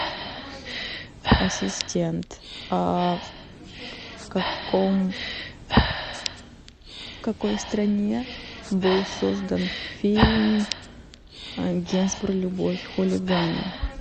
ассистент а в каком в какой стране был создан фильм генсбур любовь хулигана